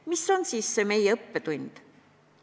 Mis on siis meie õppetund?